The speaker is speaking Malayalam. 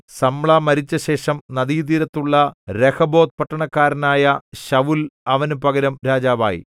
സമ്ലാ മരിച്ചശേഷം നദീതീരത്തുള്ള രെഹോബോത്ത് പട്ടണക്കാരനായ ശൌല്‍ അവന് പകരം രാജാവായി